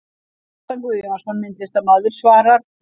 Kjartan Guðjónsson, myndlistarmaður svarar